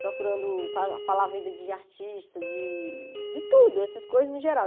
procurando falar falar a vida de artista, de de tudo, essas coisas no geral.